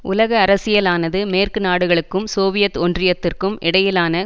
உலக அரசியலானது மேற்குநாடுகளுக்கும் சோவியத் ஒன்றியத்திற்கும் இடையிலான